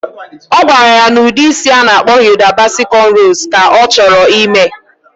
Ogwara ya na udi isi ana akpo Hilda Baci conrows ka ochoro imee